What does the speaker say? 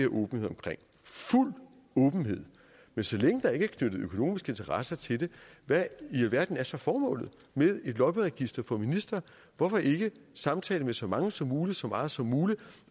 åbenhed omkring fuld åbenhed men så længe der ikke er knyttet økonomiske interesser til det hvad i alverden er så formålet med et lobbyregister for ministre hvorfor ikke samtale med så mange som muligt så meget som muligt